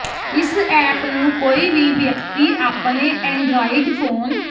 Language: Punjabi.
ਇਸ ਐਪ ਨੂੰ ਕੋਈ ਵੀ ਵਿਅਕਤੀ ਆਪਣੇ ਐਂਡਰਾਇਡ ਫੋਨ